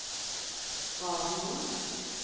radioen